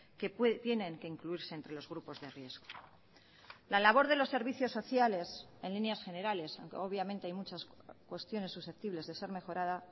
que tienen que incluirse entre los grupos de riesgo la labor de los servicios sociales en líneas generales obviamente hay muchas cuestiones susceptibles de ser mejorada